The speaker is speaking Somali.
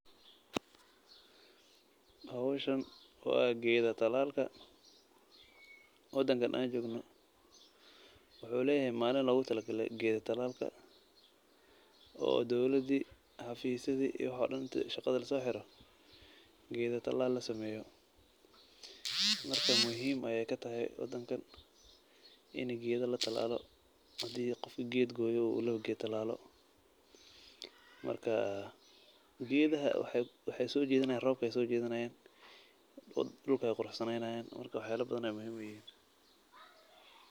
Howshan waa geeda talaalka. Wadanka aan joogno waxuu leeyahay maalin loogu tirigalay geeda talaalka oo dowladi hafiisidi iyo wax oo dhan inta shaqada lasooxiro geeda talaal la sameeyo. Marka muhiim ayaay katahay wadankan inaay geeda la talaalo. Hadii qofka geed gooya laba geed talaalo. Marka geedaha waxaay soo jiidinayan roobka ayaa soo jiidinayan, dulka ayaa quruxsanaynayaan marka wax yaalo badan ayaan muhiim uyihiin.